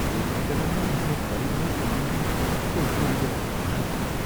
दुर्घटनामा आफ्नो परिवार गुमाउँदा उनको हृदय भारी थियो।